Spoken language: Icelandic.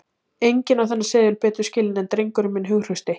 Enginn á þennan seðil betur skilinn en drengurinn minn hughrausti.